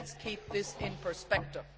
Let us keep this in perspective.